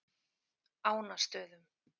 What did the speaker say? Ánastöðum